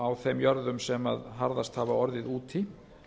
á þeim jörðum sem harðast hafa orðið úti